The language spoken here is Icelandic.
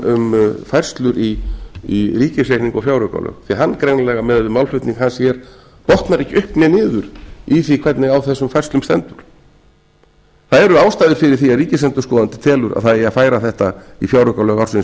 um færslur í ríkisreikningi og fjáraukalög háttvirtur hann greinilega miðað við málflutning hans hér botnar ekki upp né niður í því hvernig á þessum færslum stendur það er ástæður fyrir því að ríkisendurskoðandi telur að það eigi að færa þetta í fjáraukalög ársins